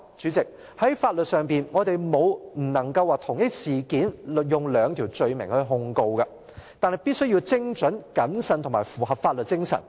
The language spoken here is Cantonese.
主席，老實說，在法律上我們沒有說不能同一事件使用兩條罪名來控告，但必須精準、謹慎及符合法律精神。